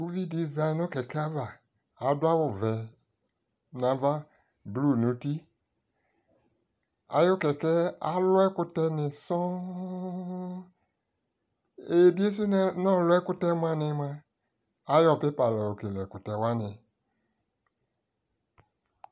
ʋvi di zanʋ kɛkɛ aɣa ,adʋ awʋ vɛɛ nʋ aɣa l blue nʋ ʋti, ayʋ kɛkɛɛ alʋ ɛkʋtɛ ni sɔɔɔ, ɛyɛ biɛsʋ so nʋ nɔlʋ ɛkʋtɛ mʋani mʋa, ayɔ paper layɔ kɛlɛ ɛkʋtɛ wani